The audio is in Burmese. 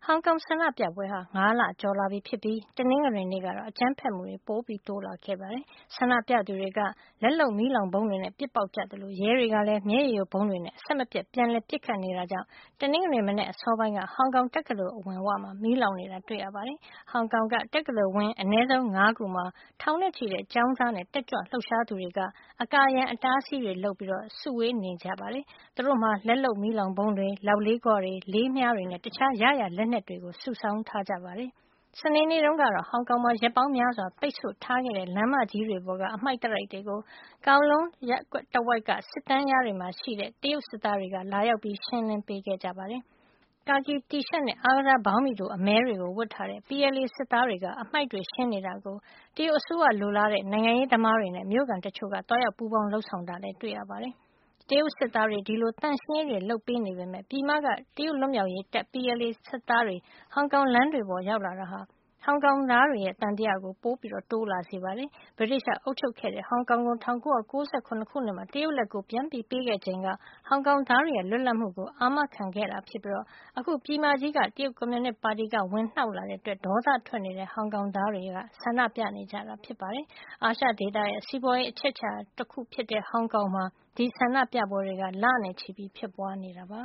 ောင်ကောင်ဆန္ဒပြပွဲတွေဖြစ်တာ ၅ လကျော်လာပြီဖြစ်ပြီး တနင်္ဂနွေနေ့ကတော့ အကြမ်းဖက်မှုတွေ ပိုတိုးလာခဲ့ပါတယ်။ ဆန္ဒပြသူတွေက လက်လုပ် မီးလောင်ဗုံးတွေနဲ့ ပစ်ပေါက်ကြသလို ရဲတွေကလည်း မျက်ရည်ယိုဗုံးတွေနဲ့ အဆက်မပြတ် ပြန်လည်ပစ်ခတ်နေတာကြောင့် တနင်္ဂနွေ မနက်အစောပိုင်းက ဟောင်ကောင်တက္ကသိုလ်အဝမှာ မီးလောင်နေတာ တွေ့ရပါတယ်။ ဟောင်ကောင်က တက္ကသိုလ်ဝင်း အနည်းဆုံး ၅ ခုမှာ ထောင်နဲ့ချီတဲ့ ကျောင်းသားနဲ့ တက်ကြွလှုပ်ရှားသူတွေက အကာအရံ အတားအဆီးတွေလုပ်ပြီး နေနေကြပါတယ်။ သူတို့မှာ လက်လုပ်မီးလောင်ဗုံးတွေ၊ လောက်လေးခွတွေ၊ လေးမြားတွေနဲ့ တခြား ရရာလက်နက်တွေ စုဆောင်းထားကြတာပါ။ စနေနေ့တုန်းကတော့ ဟောင်ကောင်မှာ ရက်ပေါင်းများစွာ ပိတ်ဆို့ထားခဲ့တဲ့ လမ်းမကြီးတွေပေါ်က အတားအဆီးတွေကို Kowloon တဝိုက်က စစ်တန်းလျားတွေမှာ ရှိနေတဲ့ တရုတ်စစ်သားတွေက ထွက်ရှင်းကြပါတယ်။ ကာကီတီရှပ်နဲ့ အားကစားဘောင်းဘီတို အမည်းတွေ ဝတ်ထားတဲ့ PLA စစ်သားတွေ အတားအဆီးတွေ ရှင်းနေတာကို တရုတ်အစိုးရလိုလားတဲ့ နိုင်ငံရေးသမားတွေနဲ့ မြို့ခံတချို့က သွားရောက်ပူးပေါင်း လုပ်ဆောင်တာလည်း တွေ့ရပါတယ်။ တရုတ်စစ်သားတွေ ဒီလို ရှင်းလင်းပေမယ့် ပြည်မက တရုတ်လွတ်မြောက်ရေးတပ် PLA စစ်သားတွေ ဟောင်ကောင်လမ်းတွေပေါ်မှာ ရောက်လာတာက ဟောင်ကောင်သားတွေရဲ့ သံသယကို ပိုတိုးလာစေတာပါ။ ဗြိတိသျှအုပ်ချုပ်ခဲ့တဲ့ ဟောင်ကောင်ကို ၁၉၉၇ ခုနှစ်မှာ တရုတ်လက်ကို ပြန်ပေးခဲ့ချိန်က ဟောင်ကောင်သားတွေရဲ့ လွတ်လပ်မှုကို အာမခံခဲ့တာဖြစ်ပြီး အခု ပြည်မကြီးက တရုတ်ကွန်မြူနစ်ပါတီက ဝင်နှောက်လာတဲ့အတွက် ဒေါသထွက်နေတဲ့ ဟောင်ကောင်သားတွေက ဆန္ဒပြနေကြတာ ဖြစ်ပါတယ်။ အာရှဒေသရဲ့ စီးပွားရေးအချက်အချာဒေသဖြစ်တဲ့ ဟောင်ကောင်မှာ ဒီဆန္ဒပြပွဲတွေက လနဲ့ချီ ဖြစ်ပွားနေတာပါ